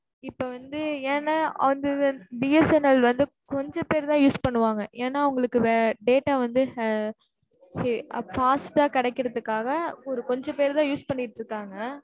இப்ப வந்து, ஏன்னா, on the BSNL வந்து, கொஞ்சம் பேர் தான் use பண்ணுவாங்க. ஏன்னா, அவங்களுக்கு data வந்து, ஹ, fast ஆ கிடைக்கறதுக்காக, ஒரு கொஞ்சம் பேர் தான், use பண்ணிட்டு இருக்காங்க.